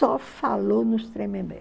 Só falou nos Tremembé.